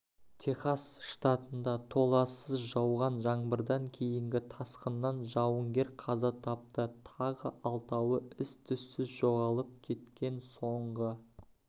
техас штатында толассыз жауған жаңбырдан кейінгі тасқыннан жауынгер қаза тапты тағы алтауы із-түзсіз жоғалып кеткен соңғы